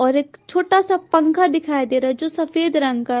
और एक छोटा सा पंखा दिखाई दे रहा है जो सफेद रंग का--